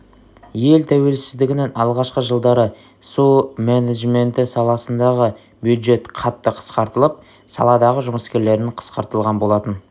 ел тәуелсіздігінің алғашқы жылдары су менеджменті саласындағы бюджет қатты қысқартылып саладағы жұмыскерлердің қысқартылған болатын